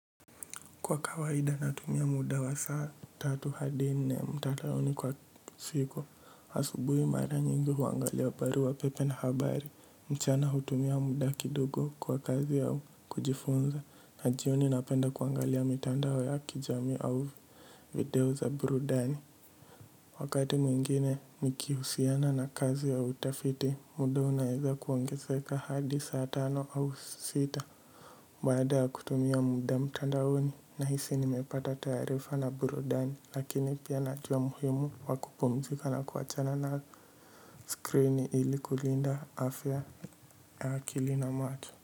Kwa kawaida natumia muda wa saa tatu hadi nne mtandaoni kwa siku asubuhi mara nyingi huangalia barua pepe na habari mchana hutumia muda kidogo kwa kazi ya kujifunza na jioni napenda kuangalia mitandao ya kijamii au video za burudani wakati mwingine nikihusiana na kazi ya utafiti muda unaeza kuongezeka hadi saa tano au sita baada ya kutumia muda mtandaoni na hisi nimepata taarifa na burudani lakini pia najua umuhimu wa kupumzika na kuachana na screen ili kulinda afya ya akili na macho.